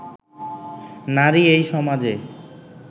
নারী এই সমাজে